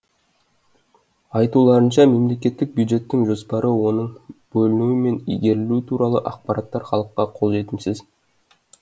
айтуларынша мемлекеттік бюджеттің жоспары оның бөлінуі мен игерілуі туралы ақпараттар халыққа қолжетімсіз